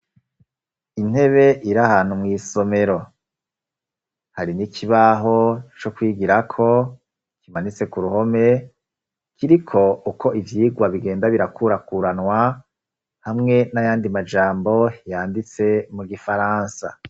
Intebe iri ahantu mw'isomero; hari n'ikibaho co kwigirako, kimanitse ku ruhome, kiriko uko ivyigwa bigenda birakurakuranwa, hamwe n'ayandi majambo yanditse mu gifaransa.